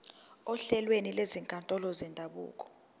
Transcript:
ohlelweni lwezinkantolo zendabuko